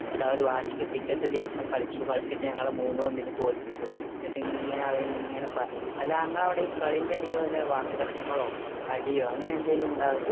എന്നിട്ട് അവർ വാശിക്ക് പിറ്റേത്ത ദിവസം cricket കളിച്ചു കളിച്ചിട്ട് ഞങ്ങളാ മൂന്ന് ഒന്നിന് തോൽപ്പിച്ചു എന്നിട്ട് അവര് ഇങ്ങനെ ഇങ്ങനെ പറഞ്ഞു അല്ല ഇങ്ങളെഅവിടെ ഈ ക്ളീന്റെ എടായിൽ വല്ല വാക്ക് തർക്കവോ ഡിയോ അങ്ങനെ എന്തെങ്കിലും ഉണ്ടാവാറുണ്ടോ